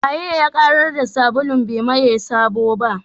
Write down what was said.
Wanene ya ƙarar da sabulun bai maye sabo ba?